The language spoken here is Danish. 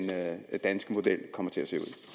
danske model kommer til